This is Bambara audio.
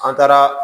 An taara